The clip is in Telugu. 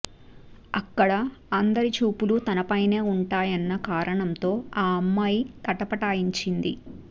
అక్కడ అందరి చూపులూ తనపైనే ఉంటాయన్న కారణంతో ఆ అమ్మాయి తటపటాయించింది